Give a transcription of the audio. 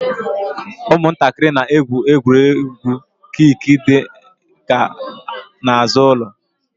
Ụmụntakịrị na-egwu egwu kiik d kan n'azụ ụlọ